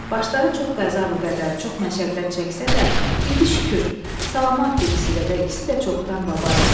Başları çox qəza-qədər, çox məşəqqət çəksə də, indi şükür, salamatdır ikisi də və ikisi də çoxdan baba idi.